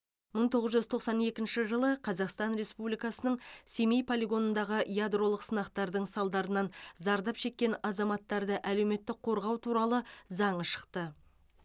мың тоғыз жүз тоқсан екінші жылы қазақстан республикасының семей полигонындағы ядролық сынақтардың салдарынан зардап шеккен азаматтарды әлеуметтік қорғау туралы заңы шықты